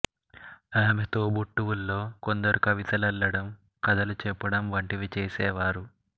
ఆమె తోబుట్టువుల్లో కొందరు కవితలల్లడం కథలు చెప్పడం వంటివి చేసేవారు